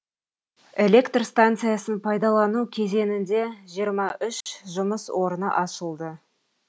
электр станциясын пайдалану кезеңінде жиырма үш жұмыс орны ашылды